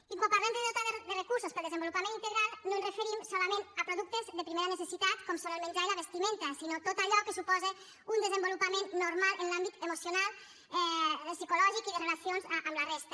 i quan parlem de dotar de recursos per al desenvolupament integral no ens referim solament a productes de primera necessitat com són el menjar i la vestimenta sinó a tot allò que suposa un desenvolupament normal en l’àmbit emocional psicològic i de relacions amb la resta